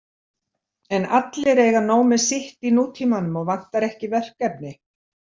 En allir eiga nóg með sitt í nútímanum og vantar ekki verkefni.